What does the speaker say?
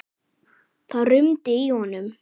Það rumdi í honum.